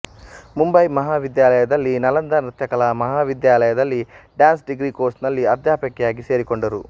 ಮುಂಬಯಿ ಮಹಾವಿದ್ಯಾಲಯದಲ್ಲಿ ನಲಂದಾ ನೃತ್ಯಕಲಾ ಮಹಾವಿದ್ಯಾಲಯದಲ್ಲಿ ಡಾನ್ಸ್ ಡಿಗ್ರಿ ಕೋರ್ಸ್ ನಲ್ಲಿ ಅಧ್ಯಾಪಕಿಯಾಗಿ ಸೇರಿಕೊಂಡರು